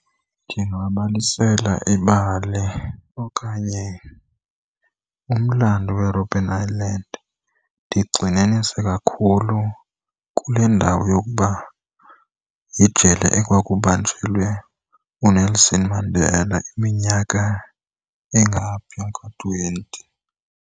Ndingabalisela ibali okanye umlando we-Robben Island. Ndigxininise kakhulu kule ndawo yokuba yijele ekwakubanjelwe uNelson Mandela iminyaka engaphaya ko-twenty.